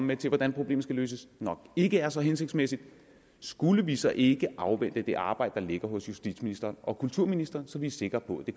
med til hvordan problemet skal løses nok ikke er så hensigtsmæssigt skulle vi så ikke afvente det arbejde der ligger hos justitsministeren og kulturministeren så vi er sikre på